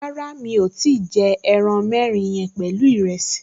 Rárá, mi ò tíì jẹ ẹran mẹ́rin yẹn pẹ̀lú ìrẹsì